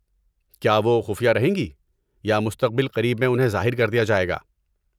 کیا وہ خفیہ رہیں گی یا مستقبل قریب میں انہیں ظاہر کر دیا جائے گا؟